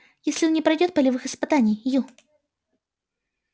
если он не пройдёт полевых испытаний ю